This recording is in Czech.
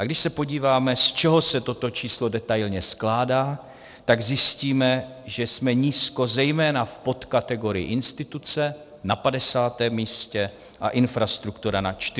A když se podíváme, z čeho se toto číslo detailně skládá, tak zjistíme, že jsme nízko zejména v podkategorii instituce na 50. místě a infrastruktura na 49. místě.